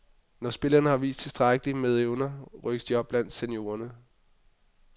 Når spillerne har vist tilstrækkeligt med evner, rykkes de op blandt seniorerne.